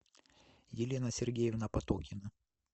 елена сергеевна потокина